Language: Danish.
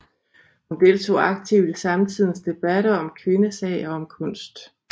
Hun deltog aktivt i samtidens debatter om kvindesag og om kunst